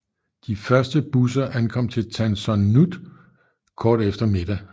De første busser ankom til Tan Son Nhut kort efter middag